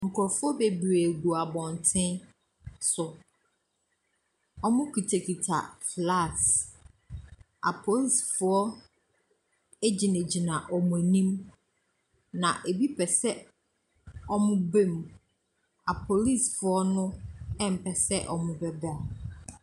Nkrɔfoɔ bebree gu abɔnte so. Wɔkitakita flags. Apolicefoɔ gyinagyina wɔn anim. Na ebi pɛ sɛ wɔba mu, apolicefoɔ no mpɛ sɛ wɔbɛba.